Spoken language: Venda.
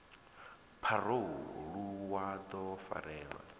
pharou ḽu wa ḓo farelwa